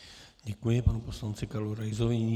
Děkuji panu poslanci Karlu Raisovi.